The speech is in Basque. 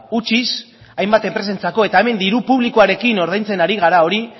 utziz hainbat enpresentzako eta hemen diru publikoarekin ordaintzen ari gara hori